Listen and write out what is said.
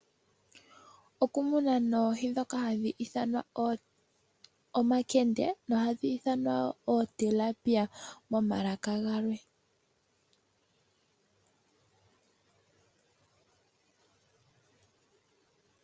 Oku muna noohi dhoka hadhi ithanwa omankende nohadhi ithanwa wo ooTilapia momalaka galwe.